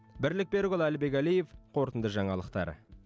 бірлік берікұлы әлібек әлиев қорытынды жаңалықтар